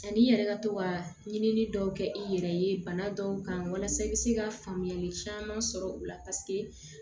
Ani i yɛrɛ ka to ka ɲini dɔw kɛ i yɛrɛ ye bana dɔw kan walasa i bɛ se ka faamuyali caman sɔrɔ u la paseke